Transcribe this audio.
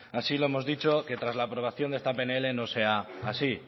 así lo hemos dicho que tras la aprobación de esta pnl no sea así